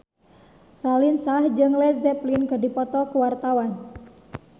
Raline Shah jeung Led Zeppelin keur dipoto ku wartawan